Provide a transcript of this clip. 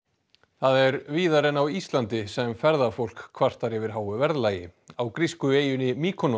er víðar en á Íslandi sem ferðafólk kvartar yfir háu verðlagi á grísku eyjunni